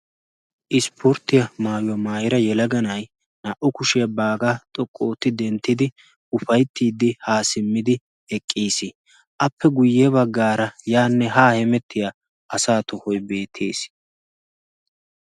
Ispporttiya maayuwaa maayira yelaganay naa"u kushiyaa baagaa xoqquntatti denttidi ufayttiiddi haa simmidi eqqiis. appe guyye baggaara yaanne haa hemettiya asaa tohoiy beettees.